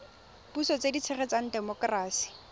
puso tse di tshegetsang temokerasi